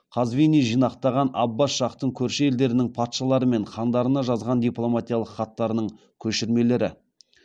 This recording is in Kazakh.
мұхаммад тахир вахид қазвини жинақтаған аббас шахтың көрші елдердің патшалары мен хандарына жазған дипломатиялық хаттарының көшірмелері